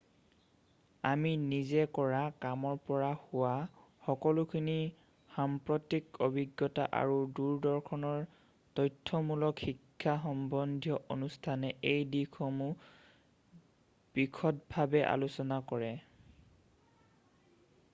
আমি নিজে কৰা কামৰ পৰা হোৱা সকলোখিনি সাম্প্ৰতিক অভিজ্ঞতা আৰু দূৰদৰ্শনৰ তথ্যমূলক শিক্ষা সম্বন্ধীয় অনুষ্ঠানে এই দিশসমূহ বিশদভাৱে আলোচনা কৰে